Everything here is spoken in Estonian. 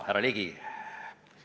Härra Ligi!